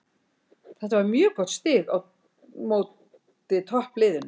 Þetta var mjög gott stig á móti toppliðinu.